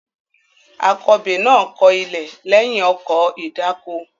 Akọbè náà kọ ilẹ̀ lẹ́yìn ọkọ̀ ìdáko.